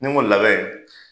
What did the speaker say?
Ni n ko labɛn